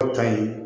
ta in